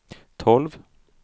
tolv